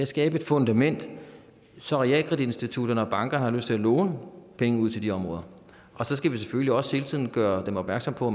skabe et fundament så realkreditinstitutter og banker har lyst til at låne penge ud til de områder og så skal vi selvfølgelig også hele tiden gøre dem opmærksom på